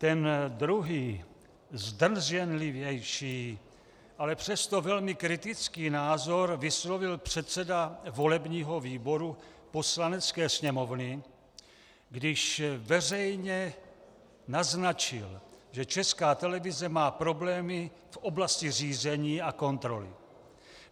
Ten druhý, zdrženlivější, ale přesto velmi kritický názor, vyslovil předseda volebního výboru Poslanecké sněmovny, když veřejně naznačil, že Česká televize má problémy v oblasti řízení a kontroly.